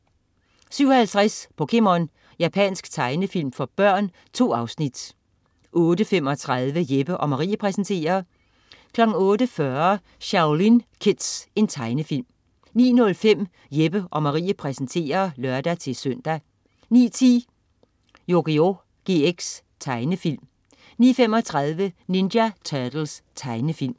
07.50 POKéMON. Japansk tegnefilm for børn. 2 afsnit 08.35 Jeppe & Marie præsenterer 08.40 Shaolin Kids. Tegnefilm 09.05 Jeppe & Marie præsenterer (lør-søn) 09.10 Yugioh GX. Tegnefilm 09.35 Ninja Turtles. Tegnefilm